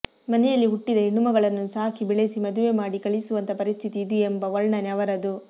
ಮನೆಯಲ್ಲಿ ಹುಟ್ಟಿದ ಹೆಣ್ಣುಮಗಳನ್ನು ಸಾಕಿ ಬೆಳೆಸಿ ಮದುವೆ ಮಾಡಿ ಕಳಿಸುವಂಥ ಪರಿಸ್ಥಿತಿ ಇದು ಎಂಬ ವರ್ಣನೆ ಅವರದು